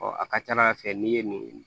a ka ca ala fɛ n'i ye nin